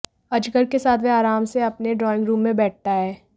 अजगर के साथ वह आराम से अपने ड्रॉइंग रूम में बैठता है